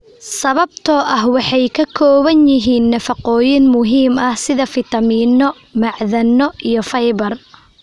sababtoo ah waxay ka kooban yihiin nafaqooyin muhiim ah sida fiitamiino, macdano, iyo fiber.